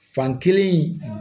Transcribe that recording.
Fan kelen